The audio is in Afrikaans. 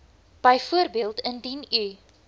byvoorbeeld indien u